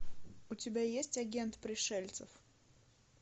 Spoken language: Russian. у тебя есть агент пришельцев